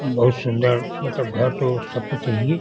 बहुत सुंदर मतलब घर तो सबको चाहिए।